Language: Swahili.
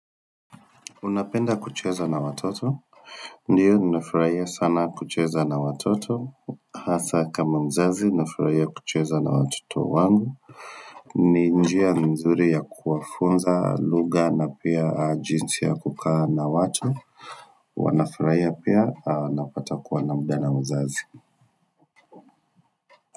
Unapenda kucheza na watoto?, ndiyo ninafurahia sana kucheza na watoto, hasa kama mzazi ninafurahia kucheza na watoto wangu ni njia nzuri ya kumfunza lugha na pia jinsi ya kukaa na watu, huwa nafurahia pia anapata kuwa na muda na mzazi.